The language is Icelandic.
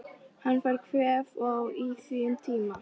Hann fær kvef og á í því um tíma.